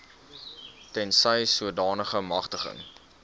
tensy sodanige magtiging